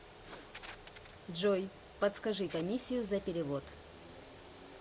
джой подскажи комиссию за перевод